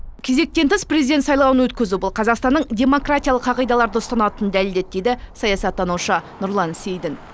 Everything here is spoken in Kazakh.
кезектен тыс президент сайлауын өткізу бұл қазақстанның демократиялық қағидаларды ұстанатынын дәлелдеді дейді саясаттанушы нұрлан сейдін